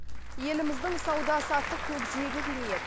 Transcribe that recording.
еліміздің сауда саттық көкжиегі кеңейеді